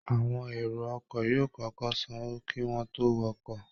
Àwọn èrò ọkọ̀ yóò kọ́kọ́ sanwó kí wọ́n tó wọkọ̀